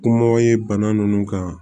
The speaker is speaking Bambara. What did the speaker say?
Kumaw ye bana nunnu kan